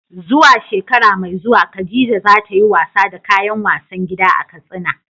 Zuwa shekara mai zuwa Khadija za ta yi wasa da kayan wasan gida a Katsina.